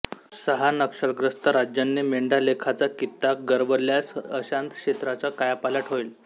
सहा नक्षलग्रस्त राज्यांनी मेंढालेखाचा कित्ता गिरवल्यास अशांत क्षेत्राचा कायापालट होईल